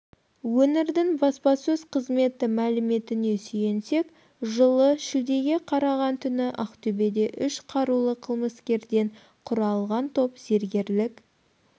өңірдің баспасөз қызметі мәліметіне сүйенсек жылы шілдеге қараған түні ақтөбеде үш қарулы қылмыскерден құралған топ зергегрлік